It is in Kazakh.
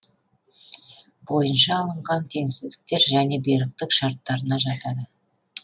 бойынша алынған теңсіздіктер және беріктік шарттарына жатады